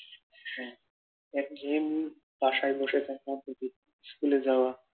হ্যাঁ একঘেয়ে বাসায় বসে থাকা, স্কুলে যাওয়া